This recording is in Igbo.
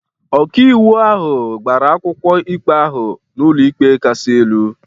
Ọkàiwu ahụ gbara akwụkwọ ikpe ahụ n’ụlọikpe kasị elu.